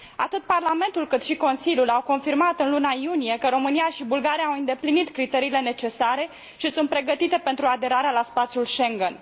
Atât Parlamentul, cât și Consiliul au confirmat în luna iunie că România și Bulgaria au îndeplinit criteriile necesare și sunt pregătite pentru aderarea la spațiul Schengen.